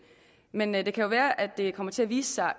men det kan jo være at det kommer til at vise sig